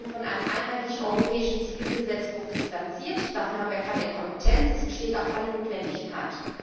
von einem einheitlichen europäischen Zivilgesetzbuch distanziert, dafür haben wir keine Kompetenz, es besteht auch keine Notwendigkeit.